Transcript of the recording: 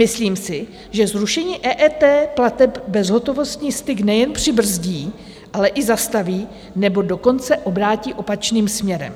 Myslím si, že zrušení EET plateb bezhotovostní styk nejen přibrzdí, ale i zastaví, nebo dokonce obrátí opačným směrem.